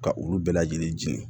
Ka olu bɛɛ lajɛlen jeni